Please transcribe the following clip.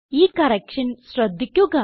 ഈ കറക്ഷൻ ശ്രദ്ധിക്കുക